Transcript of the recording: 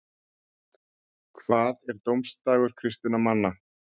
hvað er dómsdagur kristinna manna